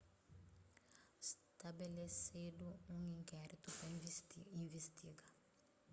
stabelesedu un inkéritu pa investiga